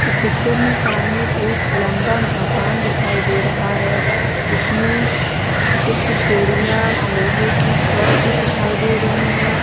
इस पिक्चर में सामने एक लंबा मकान दिखाई दे रहा है इसमें कुछ सीढ़ियां लोहे की छड़ भी दिखाई दे रही हैं ।